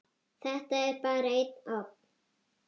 Þetta er bara einn ofn.